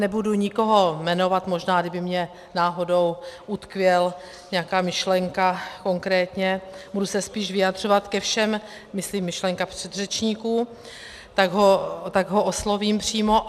Nebudu nikoho jmenovat, možná, kdyby mně náhodou utkvěl, nějaká myšlenka konkrétně, budu se spíš vyjadřovat ke všem, myslím myšlenka předřečníků, tak ho oslovím přímo.